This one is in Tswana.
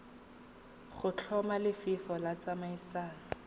go tlhoma lefelo la tsamaiso